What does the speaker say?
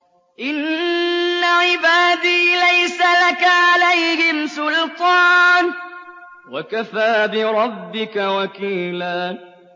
إِنَّ عِبَادِي لَيْسَ لَكَ عَلَيْهِمْ سُلْطَانٌ ۚ وَكَفَىٰ بِرَبِّكَ وَكِيلًا